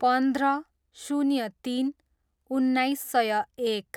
पन्ध्र, शून्य तिन, उन्नाइस सय एक